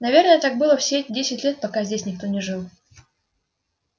наверное так было все десять лет пока здесь никто не жил